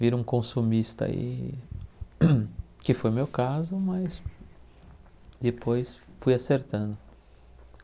Vira um consumista e, que foi o meu caso, mas depois fui acertando.